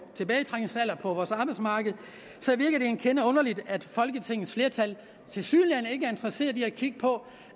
vores arbejdsmarked virker det en kende underligt at folketingets flertal tilsyneladende ikke er interesseret i at kigge på